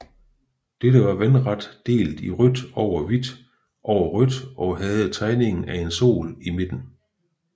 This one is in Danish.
Dette var vandret delt i rødt over hvidt over rødt og havde tegningen af en sol i midten